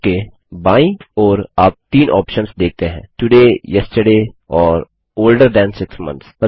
बार के बाईं ओर आप तीन ऑप्शंस देखते हैं तोड़े येस्टरडे और ओल्डर थान 6 मोंथ्स